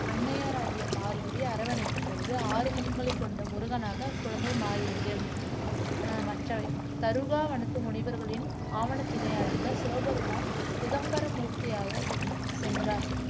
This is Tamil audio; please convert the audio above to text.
அன்னையராகிய பார்வதி அரவணைத்த பொழுது ஆறு முகங்களை கொண்ட முருகனாக அக்குழந்தை மாறியது ஆஹ் மற்ற தருகாவனத்து முனிவர்களின் ஆவணத்தினை அழிக்க சிவபெருமான் சிதம்பரம் மூர்த்தியாக சென் சென்றார்